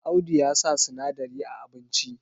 Audu ya sa sinadari a abinci